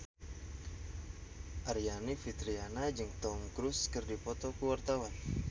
Aryani Fitriana jeung Tom Cruise keur dipoto ku wartawan